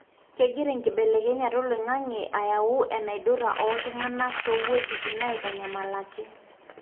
kengira ekibelekenyata oloingange ayau enaidura oltungana toweujitin naitanyamalaki.